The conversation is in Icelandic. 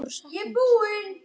Í kringum níutíu kíló.